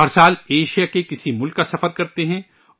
وہ ، ہر سال، ایشیا کے کسی ملک کا سفر کرتے ہیں